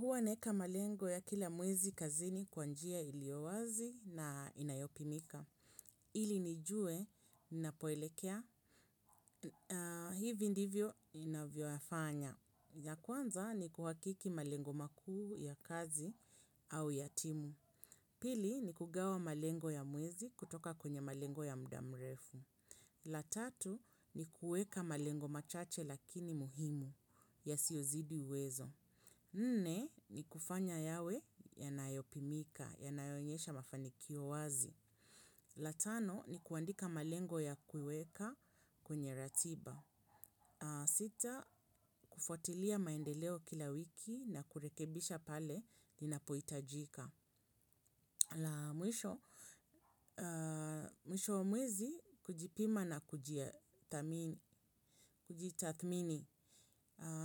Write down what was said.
Huwa naeka malengo ya kila mwezi kazini kwa njia iliyo wazi na inayopimika. Ili nijue, nnapoelekea. Hivi ndivyo inavyofanya. Ya kwanza ni kuhakiki malengo makuu ya kazi au ya timu. Pili, ni kugawa malengo ya mwezi kutoka kwenye malengo ya mdamrefu. La tatu, ni kuweka malengo machache lakini muhimu yasiyozidi uwezo. Nne ni kufanya yawe yanayopimika, yanayoonyesha mafanikio wazi. La tano ni kuandika malengo ya kuiweka kwenye ratiba. Sita kufuatilia maendeleo kila wiki na kurekebisha pale ninapohitajika. La mwisho, mwisho wa mwezi kujipima na kujitathmini.